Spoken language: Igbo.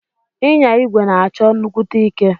Inya igwe na achọ nnukwute ike.